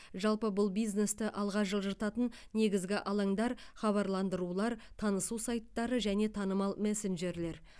жалпы бұл бизнесті алға жылжытатын негізгі алаңдар хабарландырулар танысу сайттары және танымал мессенджерлер